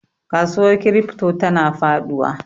Kasuwar crypto tana faduwa.